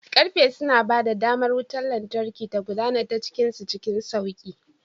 Karfe suna ba da damar wutar lantarki ta gudana ta cikin su cikin sauƙi.